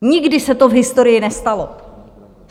Nikdy se to v historii nestalo.